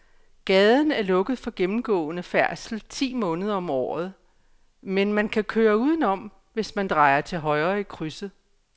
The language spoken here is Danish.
Gaden er lukket for gennemgående færdsel ti måneder om året, men man kan køre udenom, hvis man drejer til højre i krydset.